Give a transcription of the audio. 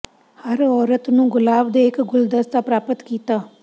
ਹਰ ਔਰਤ ਨੂੰ ਗੁਲਾਬ ਦੇ ਇੱਕ ਗੁਲਦਸਤਾ ਪ੍ਰਾਪਤ ਕੀਤਾ